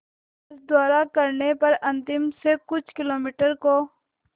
बस द्वारा करने पर अंतिम से कुछ किलोमीटर को